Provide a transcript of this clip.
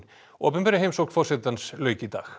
opinberri heimsókn forsetans lauk í dag